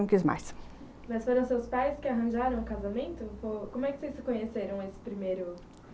Não quis mais. Mas foram os seus pais que arranjaram o casamento? como é que vocês se conheceram nesse primeiro